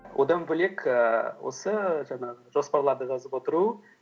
одан бөлек ііі осы жаңағы жоспарларды жазып отыру